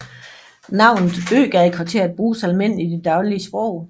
Navnet Øgadekvarteret bruges almindeligt i det daglige sprog